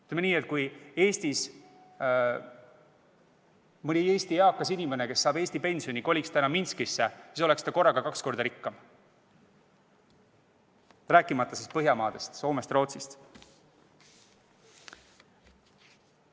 Ütleme nii, et kui mõni eakas inimene, kes saab Eestis pensioni, koliks täna Minskisse, siis oleks ta korraga kaks korda rikkam, rääkimata Põhjamaade – Soome ja Rootsi – eakatest.